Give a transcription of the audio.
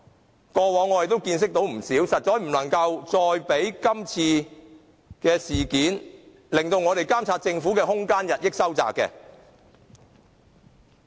這些過往我們已有見識，實在不能讓今次事件，令我們監察政府的空間進一步收窄。